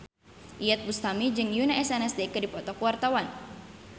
Iyeth Bustami jeung Yoona SNSD keur dipoto ku wartawan